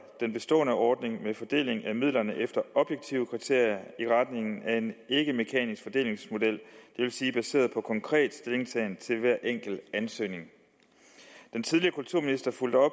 den bestående ordning med fordeling af midlerne efter objektive kriterier i retning af en ikkemekanisk fordelingsmodel det vil sige baseret på konkret stillingtagen til hver enkelt ansøgning den tidligere kulturminister fulgte op